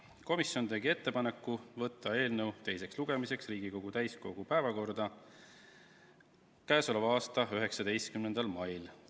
Komisjon tegi ettepaneku võtta eelnõu teiseks lugemiseks Riigikogu täiskogu päevakorda k.a 19. maiks.